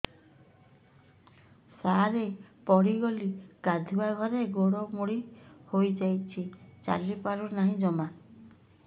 ସାର ପଡ଼ିଗଲି ଗାଧୁଆଘରେ ଗୋଡ ମୋଡି ହେଇଯାଇଛି ଚାଲିପାରୁ ନାହିଁ ଜମା